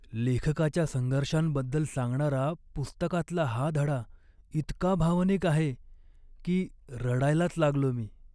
लेखकाच्या संघर्षांबद्दल सांगणारा पुस्तकातला हा धडा इतका भावनिक आहे की रडायलाच लागलो मी.